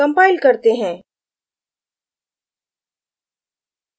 compile करते हैं